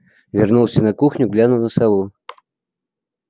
вернулся на кухню глянул на сову